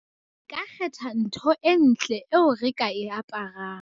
re ka kgetha ntho e ntle eo re ka e aparang